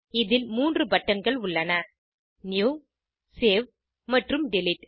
இதில் 3 பட்டன்கள் உள்ளன நியூ சேவ் மற்றும் டிலீட்